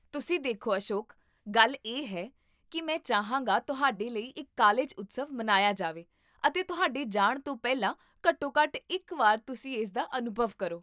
ਤੁਸੀਂ ਦੇਖੋ ਅਸ਼ੋਕ, ਗੱਲ ਇਹ ਹੈ ਕਿ ਮੈਂ ਚਾਹਾਂਗਾ ਤੁਹਾਡੇ ਲਈ ਇੱਕ ਕਾਲਜ ਉਤਸਵ ਮਨਾਇਆ ਜਾਵੇ ਅਤੇ ਤੁਹਾਡੇ ਜਾਣ ਤੋਂ ਪਹਿਲਾਂ ਘੱਟੋ ਘੱਟ ਇੱਕ ਵਾਰ ਤੁਸੀਂ ਇਸਦਾ ਅਨੁਭਵ ਕਰੋ